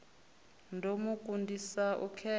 ḓo mu kundisa u khetha